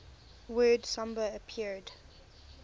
word samba appeared